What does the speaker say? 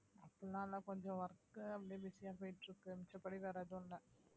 அப்படி எல்லாம் கொஞ்சம் work அப்படியே busy யா போயிட்டு இருக்கு மிச்சபடி வேற எதுவும் இல்லை